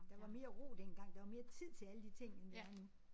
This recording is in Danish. Der var mere ro dengang der var mere tid til alle de ting end der er nu